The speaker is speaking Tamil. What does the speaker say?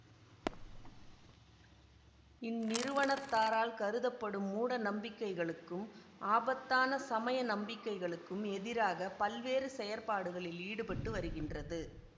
இந்நிறுவனத்தாரால் கருதப்படும் மூடநம்பிக்கைகளுக்கும் ஆபத்தான சமய நம்பிக்கைகளுக்கும் எதிராக பல்வேறு செயற்பாடுகளில் ஈடுபட்டு வருகின்றது